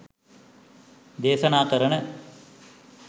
දේශනා කරන